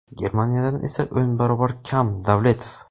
Germaniyadan esa o‘n barobar kam – Davletov.